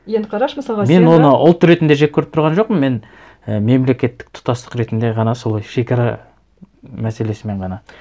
енді қарашы мысалға мен оны ұлт ретінде жек көріп тұрған жоқпын мен і мемлекеттік тұтастық ретінде ғана солай шекара мәселесімен ғана